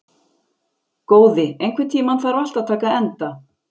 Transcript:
Góði, einhvern tímann þarf allt að taka enda.